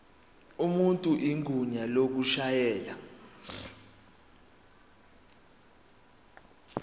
umuntu igunya lokushayela